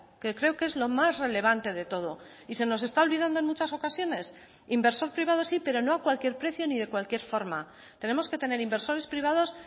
que creo que es lo más relevante de todo y se nos está olvidando en muchas ocasiones inversor privado sí pero no a cualquier precio ni de cualquier forma tenemos que tener inversores privados